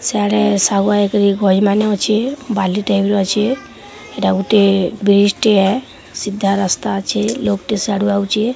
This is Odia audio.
ସିଆଡ଼େ ସାଗୁଆ ହେଇକିରି ଘଇ ମାନେ ଅଛେ ବାଲି ଟାଇପ୍ ର ଅଛେ ଏଇଟା ଗୁଟେ ବ୍ରିଜ୍ ଟିଏ ସିଧା ରାସ୍ତା ଅଛେ ଲୋକ୍ ଟି ସିଆଡ଼ୁ ଆଉଚି ।